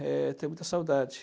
Eh, tenho muita saudade.